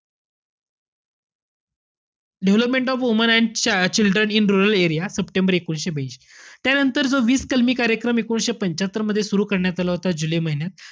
Development of woman and children in rural area, सप्टेंबर एकोणीशे ब्यांशी. त्यानंतर जो वीस कलमी कार्यक्रम एकोणीशे पंच्यात्तरमध्ये सुरु करण्यात आला होता, जुलै महिन्यात,